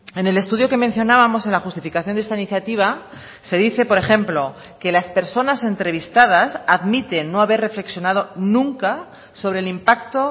en el estudio que mencionábamos en la justificación de esta iniciativa se dice por ejemplo que las personas entrevistadas admiten no haber reflexionado nunca sobre el impacto